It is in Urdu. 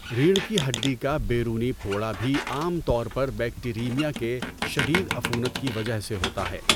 ریڑھ کی ہڈی کا بیرونی پھوڑا بھی عام طور پر بیکٹیریمیا کے شدید عفونت کی وجہ سے ہوتا ہے۔